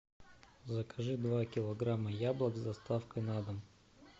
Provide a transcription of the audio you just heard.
закажи два килограмма яблок с доставкой на дом